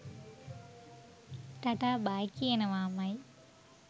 Ta-ta bye කියනවාමයි.